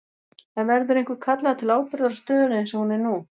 En verður einhver kallaður til ábyrgðar á stöðunni eins og hún er nú?